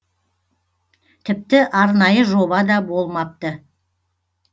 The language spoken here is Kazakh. тіпті арнайы жоба да болмапты